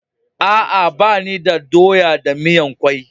Aa, ba ni da doya da miyan kwai.